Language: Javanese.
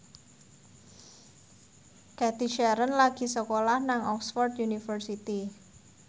Cathy Sharon lagi sekolah nang Oxford university